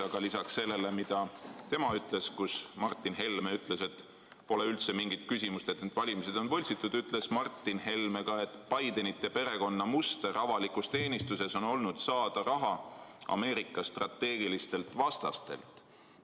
Aga lisaks sellele, mida tema märkis – et Martin Helme ütles, et pole üldse mingit küsimust, et need valimised on võltsitud –, ütles Martin Helme ka seda, et Bidenite perekonna muster avalikus teenistuses on olnud saada raha Ameerika strateegilistelt vastastelt.